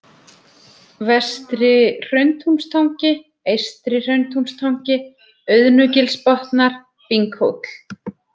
Vestri-Hrauntúnstangi, Eystri-Hrauntúnstangi, Auðnugilsbotnar, Binghóll